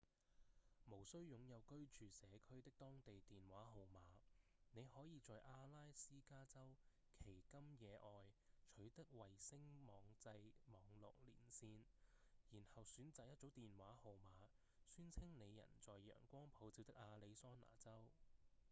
無需擁有居住社區的當地電話號碼；你可以在阿拉斯加州奇金野外取得衛星網際網路連線然後選擇一組電話號碼宣稱你人在陽光普照的亞利桑那州